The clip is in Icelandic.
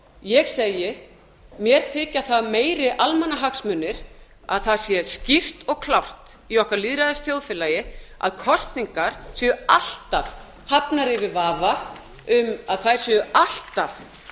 ég segi mér þykja það meiri almannahagsmunir að það sé skýrt og klárt í okkar lýðræðisþjóðfélagi að kosningar séu alltaf hafnar yfir vafa um að þær séu alltaf það sé alltaf tryggt